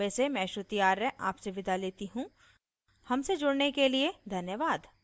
I I T Bombay से मैं श्रुति आर्य आपसे विदा लेती हूँ हमसे जुड़ने के लिए धन्यवाद